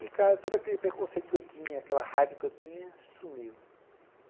E, cara, todo aquele preconceito que eu tinha, aquela raiva que eu tinha, sumiu.